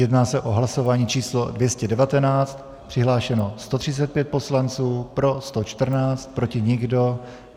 Jedná se o hlasování číslo 219, přihlášeno 135 poslanců, pro 114, proti nikdo.